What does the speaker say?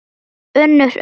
UNNUR: Unnur.